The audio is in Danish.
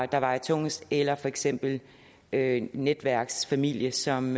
der vejer tungest eller for eksempel en netværksfamilie som